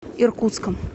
иркутском